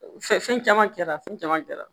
Fɛ fɛn caman kɛra fɛn caman kɛra